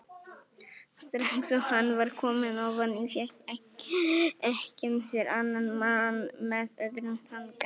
Strax og hann var kominn ofan í fékk ekkjan sér annan mann með öðrum þanka.